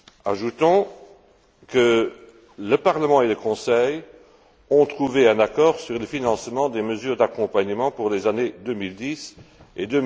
Ajoutons que le Parlement et le Conseil ont trouvé un accord sur le financement des mesures d'accompagnement pour les années 2010 et